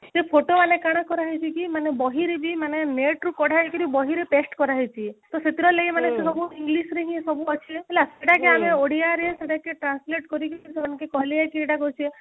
ସେ photo ମାନେ କାଣ କରା ହେଇଛି କି ମାନେ ବହିରେ ବି ମାନେ net ରୁ କଢା ହେଇକିରି ବହିରେ paste କରା ହେଇଛି ତ ସେଥିରେ ଲାଗି ମାନେ ଏଇଥିରେ ସବୁ english ରେ ହିଁ ସବୁ ଅଛି ହେଲା ଏଇଟା କି ଆମେ ଓଡିଆ ରେ ଯୋଉଟାକି translate କରି ସେମାନଙ୍କୁ କହିଲେ କି ଏଟା କରୁଛେ